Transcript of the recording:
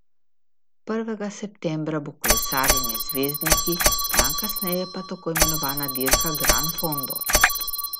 Prvega septembra bo kolesarjenje z zvezdniki, dan kasneje pa tako imenovana dirka Gran Fondo.